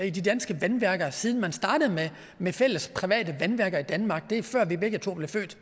i de danske vandværker siden man startede med med fælles private vandværker i danmark det er før vi begge to blev født